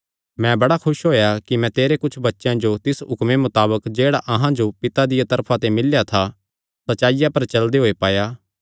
मैं बड़ा खुस होएया कि मैं तेरे कुच्छ बच्चेयां जो तिस हुक्मे मताबक जेह्ड़ा अहां जो पिता दिया तरफा ते मिल्लेया था सच्चाईया पर चलदे होये पाया